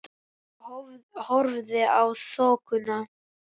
Ólafur horfði í þokuna.